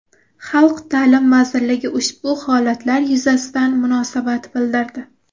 Xalq ta’lim vazirligi ushbu holatlar yuzasidan munosabat bildirdi .